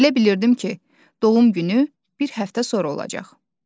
Elə bilirdim ki, doğum günü bir həftə sonra olacaq.